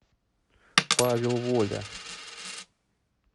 павел воля